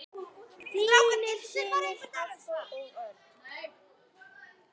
Þínir synir Hafþór og Örn.